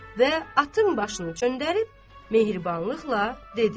və atın başını çöndərib mehribanlıqla dedi.